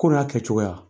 Ko a kɛcogoya